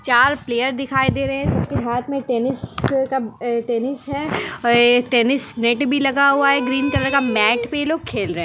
चार प्लेयर दिखाई दे रहे है सबके हाथ में टेनिस का टेनिस है और एक टेनिस नेट भी लगा हुआ है ग्रीन कलर का मेट पर ये लोग खेल रहे है।